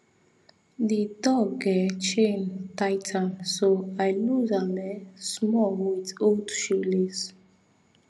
di dog um chain tight um so i lose am um small with old shoelace